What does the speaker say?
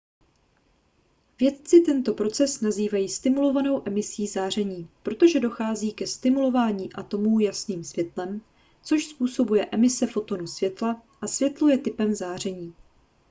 vědci tento proces nazývají stimulovanou emisí záření protože dochází ke stimulování atomů jasným světlem což způsobuje emise fotonu světla a světlo je typem záření